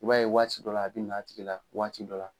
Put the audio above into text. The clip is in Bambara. I b'a ye waati dɔ la a bɛ n'a tigi la waati dɔ la.